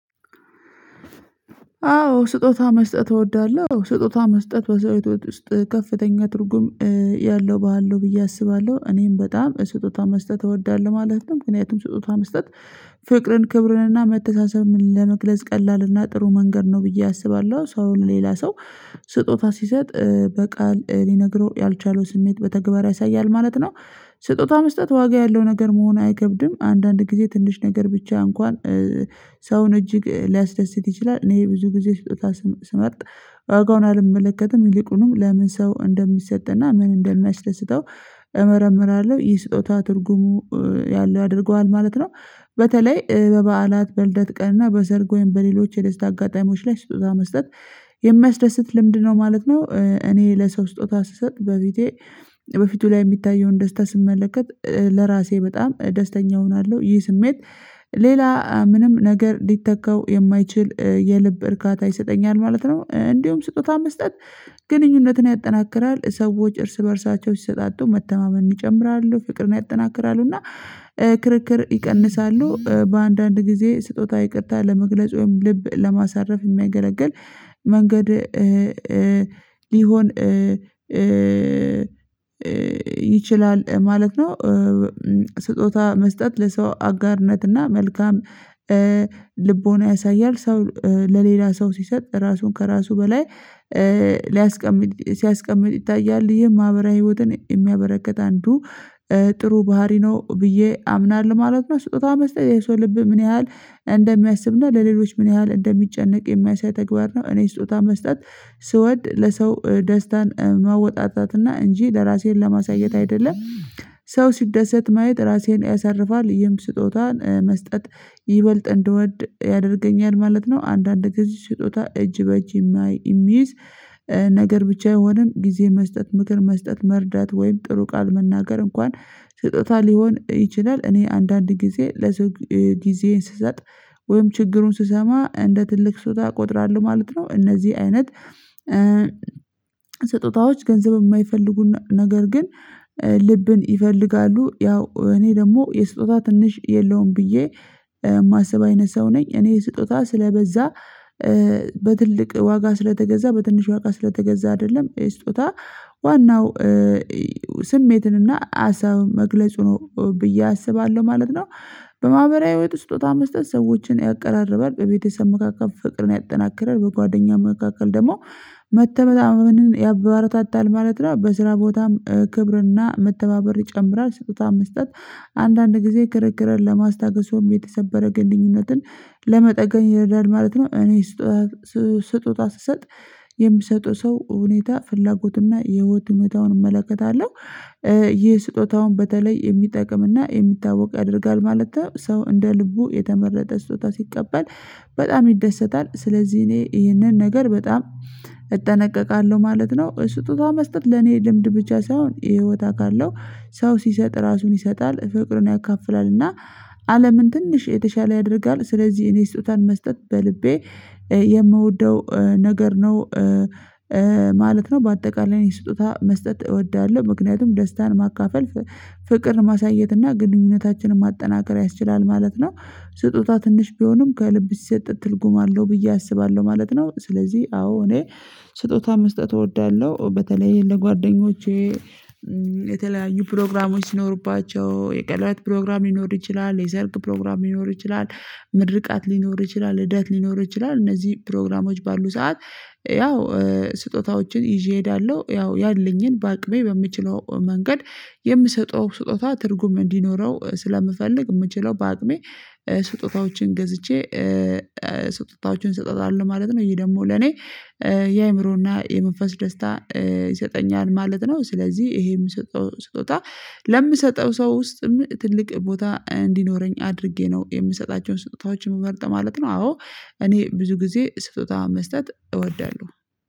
አዎ ስጦታ መስጠት እወዳለሁ ስጦታ መስጠት በዘይት ውስጥ ከፍተኛ ትርጉም ያለው ባህል ነው ብዬ አስባለሁ። እኔም በጣም ስጦታ መስጠት እወዳለሁ ማለት ነው ምክንያቱም ስጦታ መስጠት ፍቅርን ክብርን እና መተሳሰብን ለመግለጽ ቀላል እና ጥሩ መንገድ ነው ብዬ አስባለሁ። ሰው አሁን ሌላ ሰው ስጦታ ሲሰጥ በቃል ሊነግረው ያልቻለው ስሜት በተግባር ያሳያል ማለት ነው። ስጦታ መስጠት ዋጋ ያለው ነገር መሆን አይከብድም አንዳንድ ጊዜ ትንሽ ነገር ብቻ እንኳን ሰውን እጅግ ሊያስደስት ይችላል። እኔ ብዙ ጊዜ ስርታ ስመርጥ ዋጋውን አልመለከትም ይልቁኑም ለምን ሰው እንደሚሰጥና ምን እንደሚያስደስተው እመረምራለሁ። ይህ ስጦታ ትርጉሙ ያለው አድርገዋል ማለት ነው። በተለይ በበዓላት በልደት ቀን እና በዘርግ ወይም በሌሎች የደስታ አጋጣሚዎች ላይ ስትወዛ መስጠት የሚያስደስት ልምድ ነው ማለት ነው። እኔ ለሰው ስጦታ ስሰጥ በቤቴ በፊቱ ላይ የሚታየውን ደስታ ስመለከት ለራሴ በጣም ደስተኛ እሆናለሁ። ይህ ስሜት ሌላ ምንም ነገር ሊተካው የማይችል የልብ እርካታ ይሰጠኛል ማለት ነው። እንዲሁም ስጦታ መስጠት ግንኙነትን ያጠናክራል ሰዎች እርስ በእርሳቸው ሲሰጣጡ መተማመን ይጨምራሉ ፍቅርን ያጠናክራሉ እና ክርክር ይቀንሳሉ። በአንዳንድ ጊዜ ስጦታ ይቅርታ ለመግለጽ ወይም ልብ ለማሳረፍ የሚያገለግል መንገድ ሊሆን ይችላል ማለት ነው። ስጦታ መስጠት ለሰው አጋርነትና መልካም ልቦና ያሳያል ሰው ለሌላ ሰው ሲሰጥ ራሱን ከራሱ በላይ ሊያስቀምጥ ሲያስቀምጥ ይታያል ይሄ ማህበራዊ ህይወትን የሚያበረክት አንዱ ጥሩ ባህሪ ነው ብዬ አምናለሁ። ማለት ነው ስጦታው መስጠት የሰው ልብ ምን ያህል እንደሚያስብና ለሌሎች ምን ያህል እንደሚጨነቅ የሚያሳይ ተግባር ነው። እኔ ስጦታ መስጠት ስወድ ለሰው ደስታን መወጣጣት እና እንጂ ለራሴን ለማሳየት አይደለም። ሰው ሲደሰት ማየት ራሴን ያሳርፋል ይህም ስጦታን መስጠት ይበልጥ እንድወድ ያደርገኛል ማለት ነው። አንዳንድ ጊዜ ስጦታ እጅ በእጅ የሚይዝ ነገር ብቻ የሆንን ጊዜ መስጠት ምክር መስጠት መርዳት ወይም ጥሩ ቃል መናገር እንኳን ስጦታ ሊሆን ይችላል። እኔ አንዳንድ ጊዜ ለዚህ ጊዜዬን ስሰጥ ወይም ችግሩን ስሰማ እንደ ትልቅ ስጦታ እቆጥራለሁ ማለት ነው። እነዚህ አይነት ስጦታዎች ገንዘብ የማይፈልጉን ነገር ግን ልብን ይፈልጋሉ ያው እኔ ደግሞ የስጦታ ትንሽ የለውም ብዬ የማስብ አይነት ሰው ነኝ። እኔ ስጦታ ስለበዛ በትልቅ ዋጋ ስለተገዛ በትንሽ ዋጋ ስለተገዛ አይደለም ስጦታ ዋናው ስሜትንና አሳብ መግለጽ ነው ብዬ አስባለሁ ማለት ነው። በማህበራዊ ህይወት ስጦታ መስጠት ሰዎችን ያቀራርባል ቤተሰብ መካከል ፍቅርን ያጠናክራል በጓደኛው መካከል ደግሞ መተማመንን ያበረታታል ማለት ነው። በስራ ቦታም ክብርና መተባበር ይጨምራል ስጦታው መስጠት አንዳንድ ጊዜ ክርክርን ለማስታገስ የሰበረ ግንኙነትን ለመጠገን ይረዳል ማለት ነው። እኔ ስጦታ ስጦታ ስሰጥ የሚሰጡ ሰው ሁኔታ ፍላጎትና የህይወት ህይወታውን እመለከታለሁ ይህ ስጦታውን በተለይ የሚጠቅም እና የሚታወቅ ያደርጋል ማለት ነው። ሰው እንደ ልቡ የተመረጠ ስጦታ ሲቀበል በጣም ይደሰታል ስለዚህ እኔ ይህንን ነገር በጣም እጠነቀቃለሁ ማለት ነው። ስጦታ መስጠት ለኔ ልምድ ብቻ ሳይሆን ይሄ ህይወታ ካለው ሰው ሲሰጥ ራሱን ይሰጣል ፍቅርን ያካፍላል እና አለምን ትንሽ የተሻለ ያደርጋል። ስለዚህ እኔ ስጦታን መስጠት በልቤ የምወደው ነገር ነው ማለት ነው። በአጠቃላይ የሰጠኋት መስጠት እወዳለሁ ምክንያቱም ደስታን ማካፈል ፍቅር ማሳየት እና ግንኙነታችንን ማጠናከር ያስችላል ማለት ነው። ስጦታ ትንሽ ቢሆንም ከልብ ሲሰጥ ትልጉም አለው ብዬ አስባለሁ ማለት ነው። ስለዚህ አዎ እኔ ስጦታ መስጠት እወዳለሁ። በተለይ ለጓደኞቼ የተለያዩ ፕሮግራሞች ሲኖሩባቸው የቀለዋይት ፕሮግራም ሊኖር ይችላል የሰርክ ፕሮግራም ሊኖር ይችላል ምድርቃት ሊኖር ይችላል ልደት ሊኖር ይችላል እነዚህ ፕሮግራሞች ባሉ ሰዓት ያው ስጦታዎችን ይዤ እሄዳለሁ። ያው ያለኝን በአቅሜ በምችለው መንገድ የምሰጠው ስጦታ ትርጉም እንዲኖረው ስለምፈልግ የምችለው በአቅሜ ስጦታዎችን ገዝቼ ስጦታዎችን ሰጥተዋል ማለት ነው። ይሄ ደግሞ ለኔ የአእምሮና የመንፈስ ደስታ ይሰጠኛል ማለት ነው። ስለዚህ ይሄ የምሰጠው ስጦታ ለምሰጠው ሰው ውስጥም ትልቅ ቦታ እንዲኖረኝ አድርጌ ነው የምሰጣቸውን ስጦታዎችን መርጠህ ማለት ነው። አዎ እኔ ብዙ ጊዜ ስጦታውን መስጠት እወዳለሁ